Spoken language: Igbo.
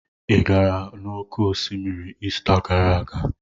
Ị gara n'oké osimiri Ista gara aga?